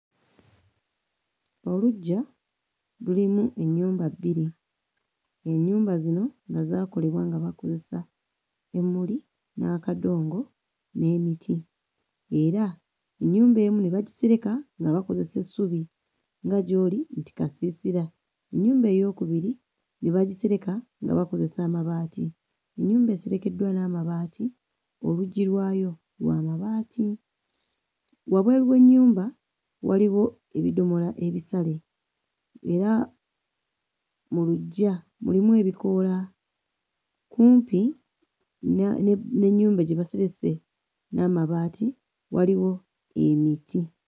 Olugggya lulimu ennyumba bbiri, ennyumba zino nga zaakolebwa nga bakozesa emmuli, n'akadongo n'emiti era ennyumba emu ne bagisireka nga bakozesa essubi nga gy'oli nti kasiisira. Ennyumba eyookubiri ne bagisereka nga bakozesa amabaati, ennyumba eserekeddwa n'amabaati oluggi lwayo lwa mabaati. Wabweru w'ennyumba waliwo ebidomola ebisale era mu luggya mulimu ebikoola. Kumpi na n'ennyumba gye baserese n'amabaati waliwo emiti.